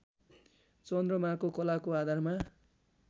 चन्द्रमाको कलाको आधारमा